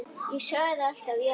Ég sagði alltaf já.